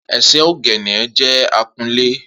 Eseoghene jẹ akunlé.